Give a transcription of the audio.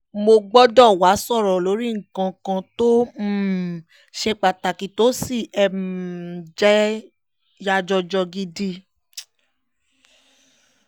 mo gbọ́dọ̀ wàá sọ̀rọ̀ lórí nǹkan kan tó um ṣe pàtàkì tó sì um jẹ́ yàjọ̀jọ́ gidi